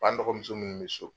An dɔkɔmuso minnu bi so